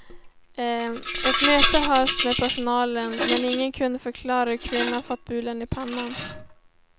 Ett möte hölls med personalen men ingen kunde förklara hur kvinnan fått bulan i pannan.